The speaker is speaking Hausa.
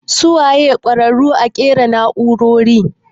Su wane ne ƙwararu a ƙera nau'rori?